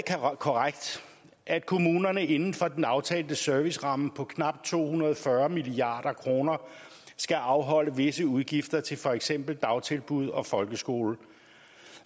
korrekt at kommunerne inden for den aftalte serviceramme på knap to hundrede og fyrre milliard kroner skal afholde visse udgifter til for eksempel dagtilbud og folkeskole